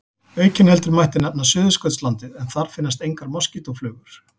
Aukinheldur mætti nefna Suðurskautslandið en þar finnast engar moskítóflugur.